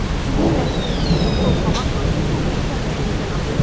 Sizin məhsulunuz isə torpağa hansı toxumu səpdiyinizdən asılıdır.